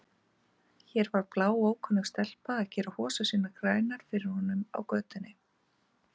Hér var bláókunnug stelpa að gera hosur sínar grænar fyrir honum úti á götu!